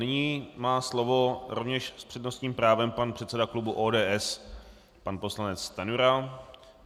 Nyní má slovo, rovněž s přednostním právem, pan předseda klubu ODS pan poslanec Stanjura.